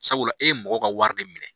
Sabula e ye mɔgɔw ka wari de minɛ.